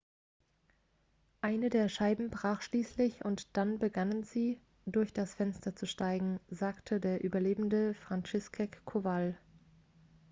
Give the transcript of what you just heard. eine der scheiben brach schließlich und dann begannen sie durch das fenster zu steigen sagte der überlebende franciszek kowal